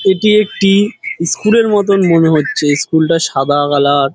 এটি একটি ইস্কুলের মতন মনে হচ্ছে স্কুল -টা সাদা কালার ।